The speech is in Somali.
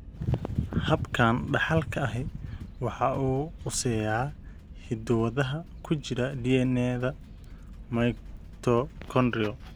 Habkan dhaxalka ahi waxa uu quseeyaa hiddo-wadaha ku jira DNA-da mitochondrial.